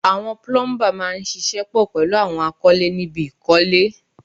Àwọn púlúḿbà máa ń ṣiṣẹ́ pọ̀ pẹ̀lú àwọn akọ́lé níbi ìkọ́lé